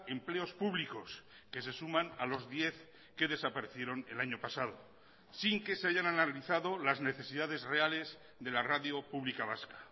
empleos públicos que se suman a los diez que desaparecieron el año pasado sin que se hayan analizado las necesidades reales de la radio pública vasca